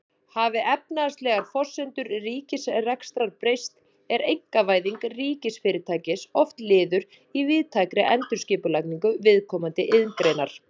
Hafi efnahagslegar forsendur ríkisrekstrar breyst er einkavæðing ríkisfyrirtækis oft liður í víðtækri endurskipulagningu viðkomandi iðngreinar.